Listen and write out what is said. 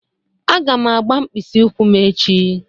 Aga m agba mkpịsị ụkwụ m echi.